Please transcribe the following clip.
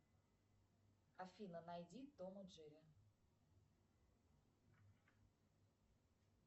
афина найди том и джерри